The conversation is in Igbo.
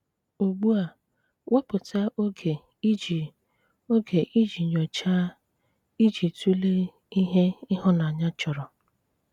Ugbù a, wépụ̀tà ògè ìjì ògè ìjì nyòcháà i ji tụ̀lè ìhè ìhụ̀nànyà chọ̀rọ̀.